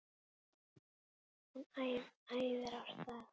Hún æðir af stað.